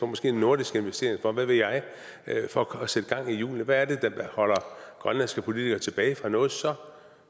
måske en nordisk investeringsfond hvad ved jeg for at sætte gang i julene hvad er det der holder grønlandske politikere tilbage fra noget så